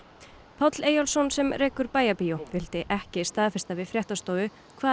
Páll Eyjólfsson sem rekur Bæjarbíó vildi ekki staðfesta við fréttastofu hvað